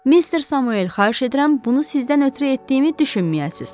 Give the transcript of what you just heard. Mister Samuel, xahiş edirəm, bunu sizdən ötrü etdiyimi düşünməyəsiz.